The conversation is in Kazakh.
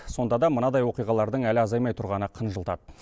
сонда да мынадай оқиғалардың әлі азаймай тұрғаны қынжылтады